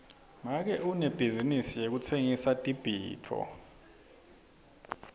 make unebhizinisi yekutsengisa tibhidvo